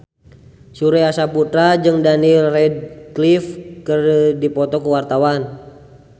Surya Saputra jeung Daniel Radcliffe keur dipoto ku wartawan